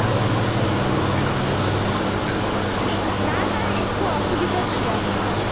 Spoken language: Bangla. হ্যাঁ এসো অসুবিধার কি আছে?